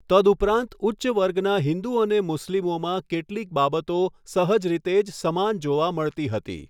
તદ્ઉપરાંત ઉચ્ચ વર્ગના હિંદુ અને મુસ્લીમોમાં કેટલીક બાબતો સહજ રીતે જ સમાન જોવા મળતી હતી.